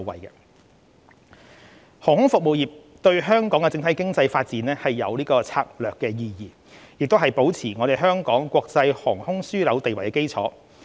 航空服務業對香港的整體經濟發展具策略意義，也是保持香港國際航空樞紐地位的基礎。